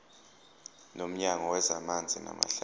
nomnyango wezamanzi namahlathi